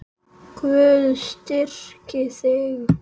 Guð styrki þig.